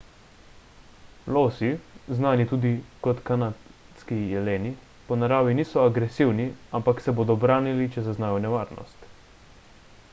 losi znani tudi kot kanadski jeleni po naravi niso agresivni ampak se bodo branili če zaznajo nevarnost